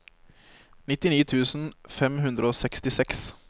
nittini tusen fem hundre og sekstiseks